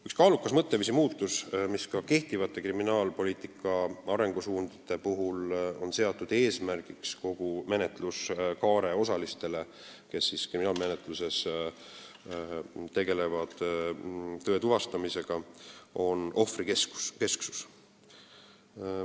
Üks kaalukas mõtteviisi muutus, mis kehtivate kriminaalpoliitika arengusuundadega on seatud eesmärgiks neile, kes kriminaalmenetluses kogu menetluskaare jooksul tegelevad tõe tuvastamisega, on ohvrikesksus.